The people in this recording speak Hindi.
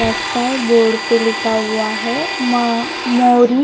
रास्ता है बोर्ड पे लिखा हुआ है म मोरी--